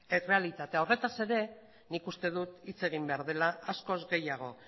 errealitatea horretaz ere nik uste dut hitz egin behar dela askoz gehiago